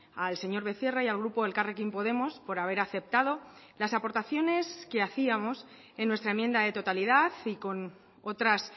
al señor becerra y al grupo elkarrekin podemos por haber aceptado las aportaciones que hacíamos en nuestra enmienda de totalidad y con otras